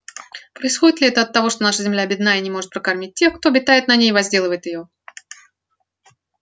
происходит ли это от того что наша земля бедна и не может прокормить тех кто обитает на ней и возделывает её